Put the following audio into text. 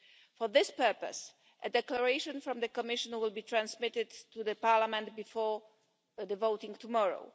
For this purpose, a declaration from the Commission will be transmitted to the Parliament before voting tomorrow.